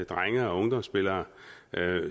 drenge og ungdomsspillere